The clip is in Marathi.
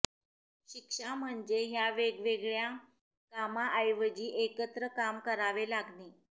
शिक्षा म्हणजे ह्या वेगवेगळ्या कामांऐवजी एकच काम करावे लागणे